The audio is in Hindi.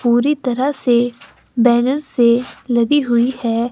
पूरी तरह से बैनर से लदी हुई है।